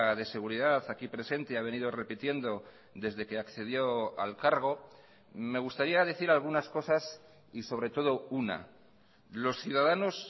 de seguridad aquí presente ha venido repitiendo desde que accedió al cargo me gustaría decir algunas cosas y sobre todo una los ciudadanos